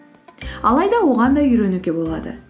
алайда оған да үйренуге болады